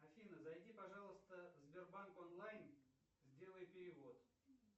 афина зайди пожалуйста в сбербанк онлайн сделай перевод